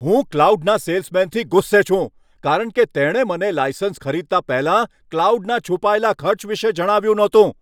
હું ક્લાઉડના સેલ્સમેનથી ગુસ્સે છું, કારણ કે તેણે મને લાયસન્સ ખરીદતા પહેલાં ક્લાઉડના છુપાયેલા ખર્ચ વિશે જણાવ્યું ન હતું.